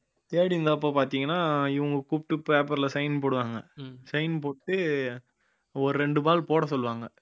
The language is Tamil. தேடி இருந்தப்ப பாத்தீங்கன்னா இவங்க கூப்பிட்டு paper ல sign போடுவாங்க sign போட்டு ஒரு ரெண்டு ball போட சொல்லுவாங்க